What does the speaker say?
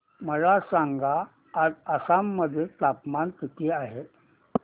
मला सांगा आज आसाम मध्ये तापमान किती आहे